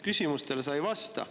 Küsimustele sa ei vasta.